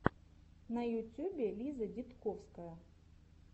на ютюбе лиза дидковская